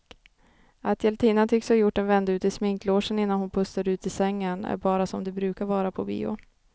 Att hjältinnan tycks ha gjort en vända ut i sminklogen innan hon pustar ut i sängen är bara som det brukar vara på bio.